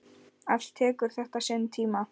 Allt tekur þetta sinn tíma.